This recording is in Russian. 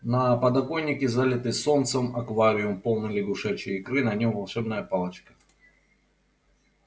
на подоконнике залитый солнцем аквариум полный лягушачьей икры на нём волшебная палочка